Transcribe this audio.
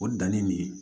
O danni de ye